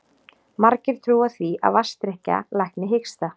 Margir trúa því að vatnsdrykkja lækni hiksta.